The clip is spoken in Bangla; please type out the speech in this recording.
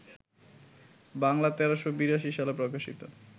বাংলা ১৩৮২ সালে প্রকাশিত